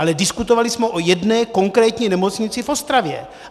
Ale diskutovali jsme o jedné konkrétní nemocnici v Ostravě.